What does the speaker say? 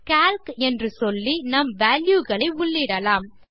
Calc என்று சொல்லி நம் வால்யூ களை உள்ளிடலாம்